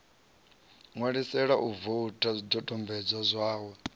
ṋwalisela u voutha zwidodombodzwa zwawe